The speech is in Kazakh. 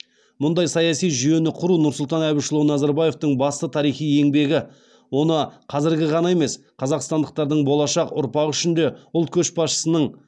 мұндай саяси жүйені құру нұрсұлтан әбішұлы назарбаевтың басты тарихи еңбегі оны қазіргі ғана емес қазақстандықтардың болашақ ұрпағы үшін де ұлт көшбасшысын